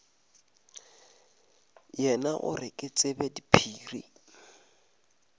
yena gore ke tsebe diphiri